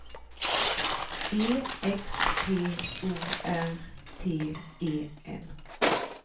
E X P O R T E N